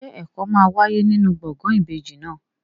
Ṣé ẹ̀kọ́ máa wáyé nínú gbọ̀ngàn ìbejì náà?